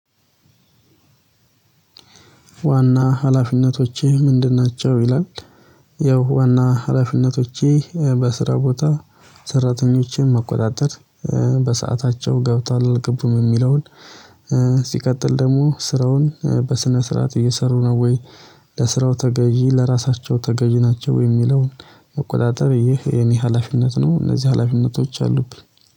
ዋና ሀላፊነቶቼ ምንድን ናቸው ይላል? ያው ዋና ሀላፊነቶቼ በስራ ቦታ ሰራተኞቼን መቆጣጠር በሰአታቸው ገብታል አልገቡም የሚለውን። ሲቀጥል ደግሞ ስራውን በስነ ስርዓት እየሰሩ ነው ወይ? ለስራው ተገዥ ለራሳቸው ተገዥ ናቸው የሚለውን መቆጣጠር ይህ የኔ ሀላፊነት ነው። እነዚህ ሀላፊነቶች አሉብኝ